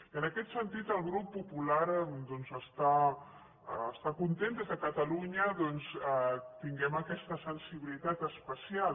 i en aquest sentit el grup popular doncs està content que des de catalunya tinguem aquesta sensibilitat especial